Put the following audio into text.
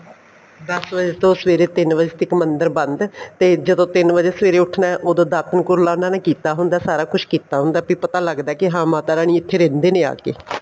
ਦਸ ਵਜ਼ੇ ਤੋਂ ਸਵੇਰੇ ਤਿੰਨ ਵਜ਼ੇ ਤੱਕ ਮੰਦਰ ਬੰਦ ਤੇ ਜਦੋਂ ਤਿੰਨ ਵਜ਼ੇ ਸਵੇਰੇ ਉੱਠਣਾ ਉਦੋਂ ਦਾਤਨ ਕੁਰਲਾ ਉਹਨਾ ਨੇ ਕੀਤਾ ਹੁੰਦਾ ਸਾਰਾ ਕੁੱਛ ਕੀਤਾ ਹੁੰਦਾ ਹੈ ਵੀ ਪਤਾ ਲੱਗਦਾ ਹੈ ਹਾਂ ਮਾਤਾ ਜੀ ਇੱਥੇ ਰਹਿੰਦੇ ਨੇ ਆਕੇ